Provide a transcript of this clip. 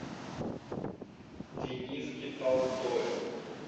дениске толстове